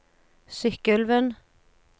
Sykkylven